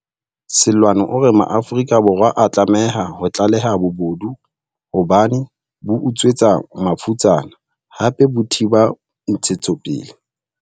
Seloane o re Maafrika Borwa a tlameha ho tlaleha bobodu hobane bo utswetsa mafutsana, hape bo thiba ntshetsopele.